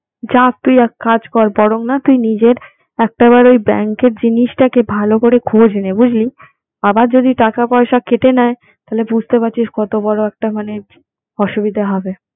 যাক তুই এক কাজ কর বরং না তুই নিজের একটা বার ওই bank এর জিনিসটাকে ভাল করে খোঁজ নে। বুঝলি? আবার যদি টাকা পয়সা কেটে নেয় তাহলে বুঝতে পারছিস কতবড় একটা মানে অসুবিধা হবে।